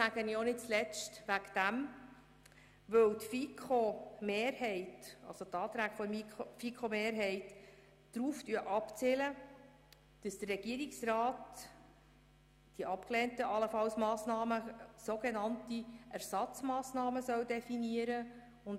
Ich sage das nicht zuletzt deshalb, weil die Anträge der FiKo-Mehrheit darauf abzielen, dass der Regierungsrat für die allenfalls abgelehnten Massnahmen Ersatzmassnahmen definieren soll.